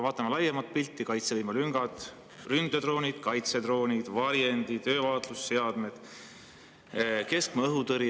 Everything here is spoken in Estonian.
Vaatame laiemat pilti: kaitsevõime, ründedroonid, kaitsedroonid, varjendid, öövaatlusseadmed, keskmaa õhutõrje.